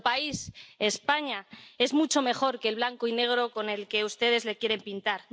Nuestro país, España, es mucho mejor que el blanco y negro con el que ustedes lo quieren pintar.